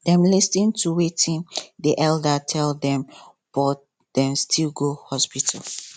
dem lis ten to watin the elder tell them but dem still go hospital